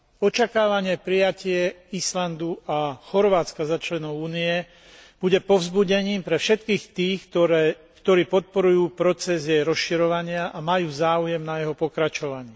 Očakávané prijatie Islandu a Chorvátska za členov Únie bude povzbudením pre všetkých tých, ktorí podporujú proces jej rozširovania a majú záujem na jeho pokračovaní.